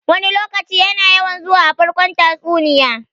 "Wani lokaci" yana yawan zuwa a farkon tatsuniya.